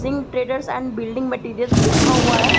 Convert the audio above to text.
Singh traders and building materials लिखा हुआ है।